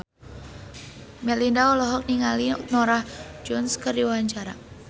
Melinda olohok ningali Norah Jones keur diwawancara